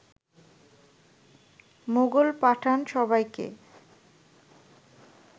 মোগল-পাঠান সবাইকে